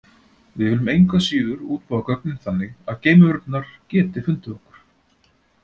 Við viljum engu að síður útbúa gögnin þannig að geimverurnar geti fundið okkur.